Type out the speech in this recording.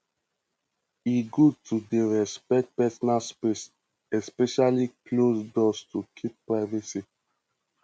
e good to dey respect personal space especially closed doors to keep privacy